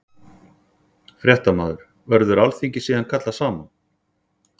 Fréttamaður: Verður alþingi síðan kallað saman?